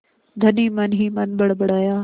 धनी मनहीमन बड़बड़ाया